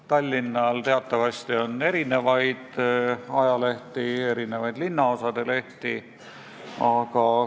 Tallinnal teatavasti on mitu ajalehte, sest ka linnaosadel on oma lehed.